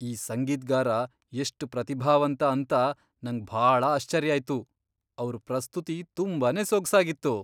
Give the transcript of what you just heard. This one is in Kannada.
ಈ ಸಂಗೀತ್ಗಾರ ಎಷ್ಟ್ ಪ್ರತಿಭಾವಂತ ಅಂತ ನಂಗ್ ಭಾಳ ಆಶ್ಚರ್ಯ ಆಯ್ತು. ಅವ್ರ್ ಪ್ರಸ್ತುತಿ ತುಂಬಾನೇ ಸೊಗ್ಸಾಗಿತ್ತು.